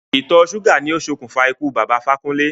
Ìtọ̀ ṣúgà ni o ṣe òkùnfà ikú Bàbá Ifákúnlé.